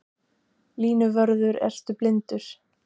Línuvörður ertu blindur?